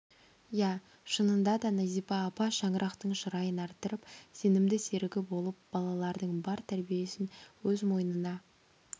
иә шынында да назипа апа шаңырақтың шырайын арттырып сенімді серігі болып балалардың бар тәрбиесін өз мойнына